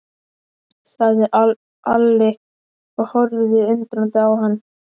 sagði Alli og horfði undrandi á hann.